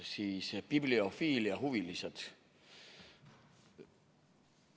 Head bibliofiiliahuvilised!